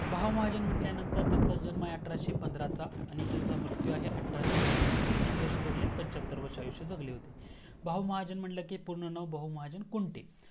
बहुमहजण म्हंटल्यानंतर त्यांचा जन्म आहे अठराशे पंधरा चा आणि त्यांचा मृतू आहे. अठराशे नव्वद म्हणजे किती वर्षं जगलेत पंच्याहत्तर वर्षं आयुष्य जगले होते. बहुमहाजण म्हंटलं की पूर्ण नाव बहुमहाजण कुंटे